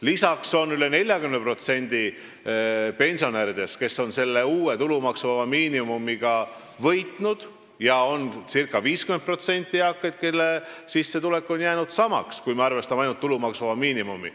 Lisaks on üle 40% pensionäridest uue tulumaksuvaba miinimumiga võitnud ja circa 50% on eakaid, kelle sissetulek on jäänud samaks, kui me arvestame ainult tulumaksuvaba miinimumi.